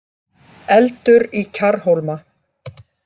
Eldur í Kjarrhólma